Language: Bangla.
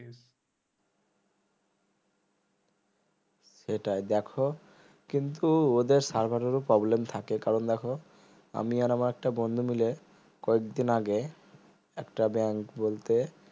সেটাই দেখো কিন্তু ওদের server এর ও problem থাকে কারণ দেখো আমি আর আমার একটা বন্ধু মিলে কয়েকদিন আগে একটা bank বলতে